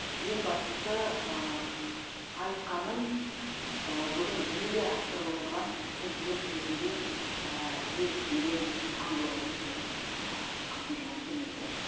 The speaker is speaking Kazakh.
ең бастысы айтқанын бүгін жүзеге асырып отырған президент ретінде ел ішінде танылып отыр бүгін қасым жомарт кемелұлы